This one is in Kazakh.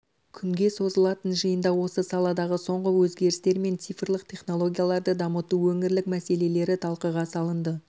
күнге созылатын жиында осы саладағы соңғы өзгерістер мен цифрлық технологияларды дамыту өңірлік мәселелері талқыға салынады